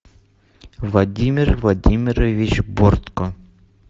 владимир владимирович бортко